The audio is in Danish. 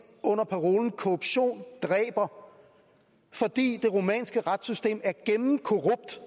under parolen korruption dræber fordi det rumænske retssystem er gennemkorrupt